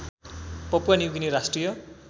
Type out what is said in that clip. Papua new guinea राष्ट्रिय